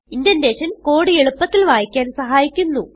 indentation code എളുപ്പത്തിൽ വായിക്കാൻ സഹായിക്കുന്നു